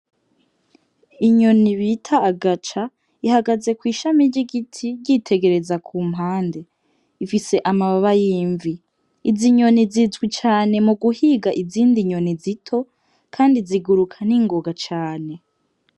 Inyoni bita agaca, ihagaze kw'ishami ry'igiti yitegereza kumpande. Ifise amababa y'imvi. Izi nyoni zizwi cane muguhiga izindi nyoni zito, kandi ziguruka n'ingoga cane.